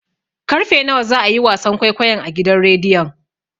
Karfe nawa za a yi wasan kwaikwayon a gidan rediyon?